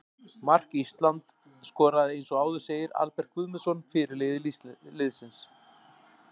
Mark Ísland skoraði eins og áður segir Albert Guðmundsson, fyrirliði liðsins.